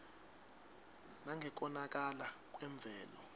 nangekonakala kwemvelo